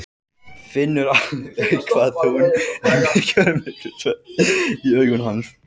Finnur alveg hvað hún er mikill myglusveppur í augum hans.